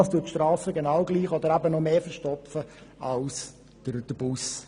Dadurch werden die Strassen genauso, wenn nicht sogar mehr verstopft als durch den Bus.